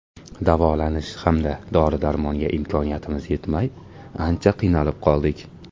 Davolanish hamda dori-darmonga imkoniyatimiz yetmay ancha qiynalib qoldik.